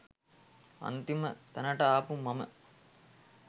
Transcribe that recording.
අන්තිම තැනට ආපු මම